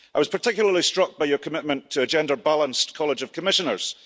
I was particularly struck by your commitment to a gender balanced College of Commissioners.